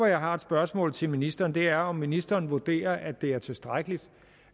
jeg har et spørgsmål til ministeren om er om ministeren vurderer at det er tilstrækkeligt